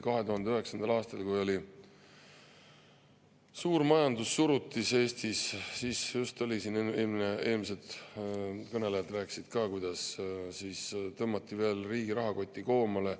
2009. aastal, kui oli suur majandussurutis Eestis – eelmised kõnelejad rääkisid ka sellest –, just tõmmati veel riigi rahakotti koomale.